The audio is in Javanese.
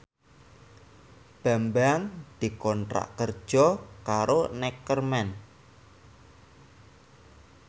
Bambang dikontrak kerja karo Neckerman